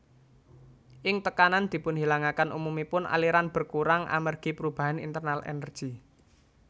Ing tekanan dipunhilangaken umumipun aliran berkurang amergi perubahan internal energi